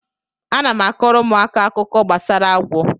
Ana m akọọrọ ụmụaka akụkọ gbasara agwọ